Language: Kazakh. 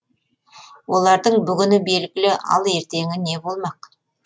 олардың бүгіні белгілі ал ертеңі не болмақ